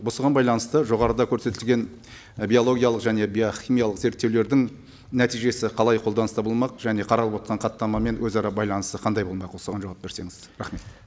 осыған байланысты жоғарыда көрсетілген і биологиялық және биохимиялық зерттеулердің нәтижесі қалай қолданыста болмақ және қарап отырған хаттамамен өзара байланысы қандай болмақ осыған жауап берсеңіз рахмет